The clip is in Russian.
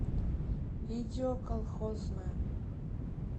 видео колхозная